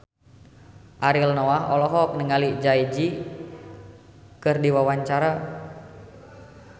Ariel Noah olohok ningali Jay Z keur diwawancara